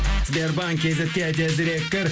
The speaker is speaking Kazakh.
сбербанк кейзетке тезірек кір